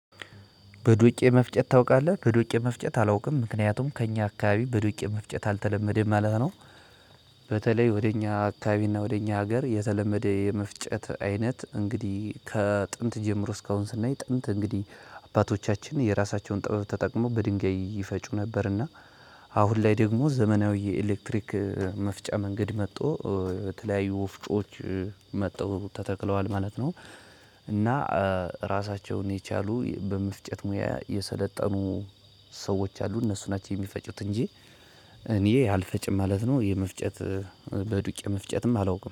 በዶቄ መፍጨት ታውቃለህ በዶቄ መፍጨት አላውቅም ምክንያቱም ከእኛ አከባቢ በዶቄ መፍጨት አልተለመደም ማለት ነው። በተለይ ወደ እኛ አካባቢ እና ወደ እኛ ሀገር የተለመደ የመፍጨት አይነት እንግዲህ ከጥንት ጀምሮ እስካሁን ስናይ ጥንት እንግዲህ አባቶቻችን የራሳቸውን ጥበብ ተጠቅመው በድንጋይ ይፈጩ ነበርና እና አሁን ላይ ደግሞ ዘመናዊ የኤሌክትሪክ መፍጫ መንገድ መጥቶ። በተለያዩ ወፍጮዎች መጥተው ተተክለዋል ማለት ነው። እና ራሳቸውን የቻሉ በመፍጨት ሙያ የሰለጠኑ ሰዎች አሉ። እነሱ ናቸው የሚፈጩት እንጂ እኔ አልፈጭም ማለት ነው። የመፍጨት በዱቄ መፍጨትም አላውቅም